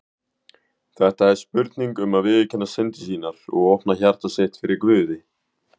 Þetta er spurning um að viðurkenna syndir sínar og opna hjarta sitt fyrir Guði.